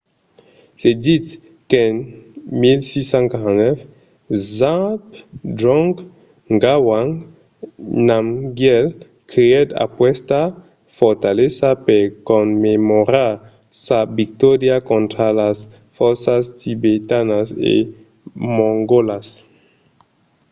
se ditz qu’en 1649 zhabdrung ngawang namgyel creèt aquesta fortalesa per commemorar sa victòria contra las fòrças tibetanas e mongòlas